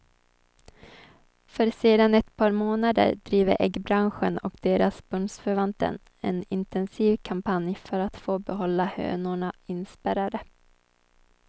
För sedan ett par månader driver äggbranschen och deras bundsförvanter en intensiv kampanj för att få behålla hönorna inspärrade.